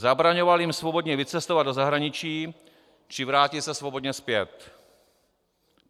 zabraňoval jim svobodně vycestovat do zahraničí či vrátit se svobodně zpět,